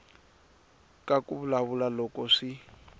ka ku vulavula loko swi